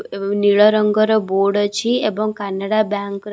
ଏବଂ ନୀଳ ରଙ୍ଗର ବୋର୍ଡ ଅଛି ଏବଂ କାନାଡା ବ୍ୟାଙ୍କ ର --